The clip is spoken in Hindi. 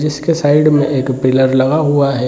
जिसके साइड में एक पिलर लगा हुआ है |